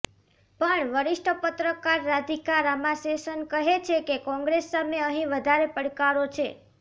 પણ વરિષ્ઠ પત્રકાર રાધિકા રામાશેષન કહે છે કે કોંગ્રેસ સામે અહીં વધારે પડકારો છે